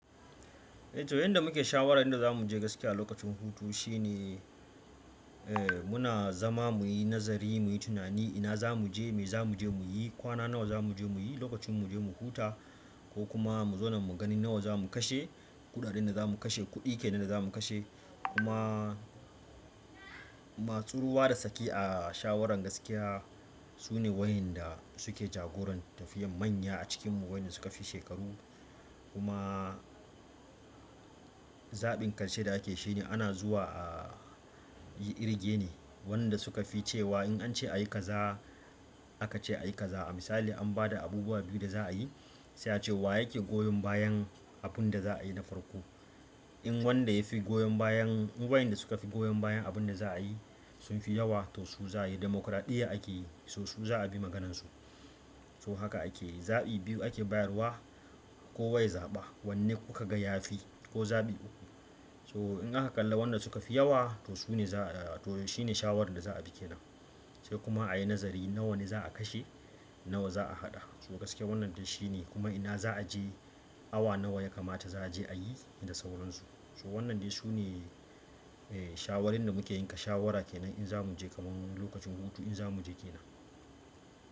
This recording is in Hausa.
Eh to yanda muke shawara yanda za mu je gaskiya lokacin hutu shine, eh muna zama muyi nazari muyi tunani ina za mu je, me za mu je muyi, kwana nawa za mu je muyi, lokacin mu je mu huta ko kuma mu zauna mu gani nawa za mu kashe, kuɗaɗen da za mu kashe, kuɗi kenan da za mu kashe. Kuma masu ruwa da tsaki a shawaran gaskiya sune wayanda suke jagoran tafiyar manya a cikinmu wayanda suka fi shekaru. Kuma zaɓin ƙarshe da ake shi ne ana zuwa a yi irge ne, wanda suka fi cewa in an ce a yi kaza aka ce a yi kaza. A misali an ba da abubuwa biyu da za a yi, sai ace wa yake goyon bayan abun da za a yi na farko. In wanda yafi goyon bayan, duk wayanda suka fi goyon bayan abin da za a yi sun fi yawa to su za a yi demokraɗiyya ake yi, so su za a bi maganar su so haka ake yi, zaɓi biyu ake bayarwa kowa ya zaɓa wanne kuka ga ya fi ko zaɓi uku. So in aka kalla wanda suka fi yawa to su ne za, to shi ne shawaran da za a bi ke nan. Sai kuma a yi nazari nawa ne za a kashe, nawa za a haɗa. So gaskiya wannan dai shi ne kuma ina za a je awa nawa ya kamata za a je a yi, inda sauransu. So wannan dai su ne, eh shawarin da muke yanka shawara kenan in za mu je kaman lokacin hutu in za mu je ke nan.